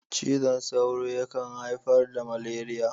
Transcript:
Cizon sauro yakan haifar da maleriya.